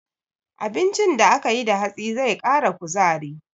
Abincin da aka yi da hatsi zai ƙara kuzari.